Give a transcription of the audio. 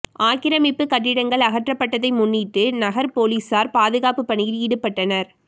ஆக்கிரமிப்பு கட்டிடங்கள் அகற்றப்பட்டதை முன்னிட்டு நகர் போலீசார் பாதுகாப்பு பணியில் ஈடுபட்டனர்